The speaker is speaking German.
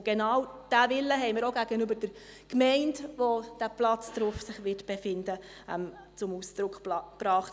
Und genau diesen Willen haben wir auch gegenüber der Gemeinde, auf deren Gebiet sich der Platz befinden wird, zum Ausdruck gebracht.